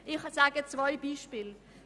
Ich erwähne zwei Beispiele: